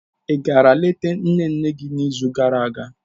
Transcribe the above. Ị gara leta nne nne n'izu gara aga?